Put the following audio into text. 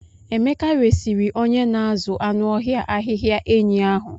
Emeka resịrị onye na-azụ anụ ọhịa ahịhịa enyi ahụ.